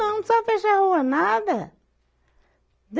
Não precisava fechar a rua nada.